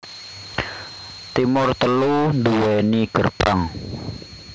Timur telu duweni gerbang